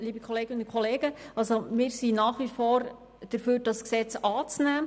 Wir sind nach wie vor dafür, dieses Gesetz anzunehmen.